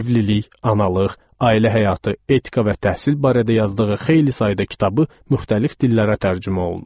Evlilik, analıq, ailə həyatı, etika və təhsil barədə yazdığı xeyli sayda kitabı müxtəlif dillərə tərcümə olunub.